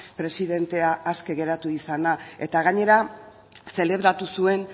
presidentea aske geratu izana eta gainera zelebratu zuen